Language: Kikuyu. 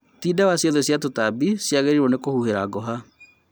Ti dawa ciothe cia tũtambi cĩagĩrĩirwo nĩ kũhuhĩra ngũha